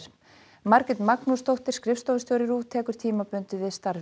Margrét Magnúsdóttir skrifstofustjóri RÚV tekur tímabundið við starfi